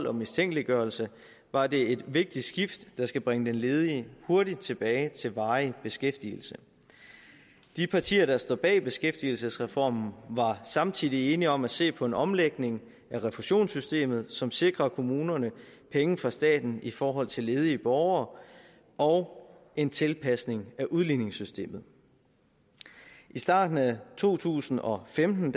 og mistænkeliggørelse var det et vigtigt skift der skal bringe den ledige hurtigt tilbage til varig beskæftigelse de partier der står bag beskæftigelsesreformen var samtidig enige om at se på en omlægning af refusionssystemet som sikrer kommunerne penge fra staten i forhold til ledige borgere og en tilpasning af udligningssystemet i starten af to tusind og femten